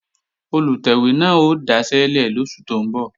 Olùtẹ̀wé náà ó daṣẹ́lẹ̀ lóṣù tó ń bọ̀